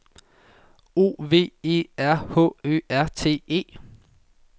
O V E R H Ø R T E